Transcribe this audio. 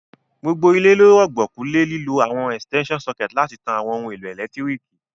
Gbogbo ilé lo rùgbọ̀kú le lílo àwon extension sucket láti tan àwon oun èlò ẹ́lẹ̀ntirikì